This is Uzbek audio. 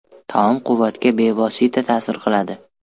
Taom quvvatga bevosita ta’sir qiladi.